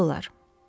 Detallar.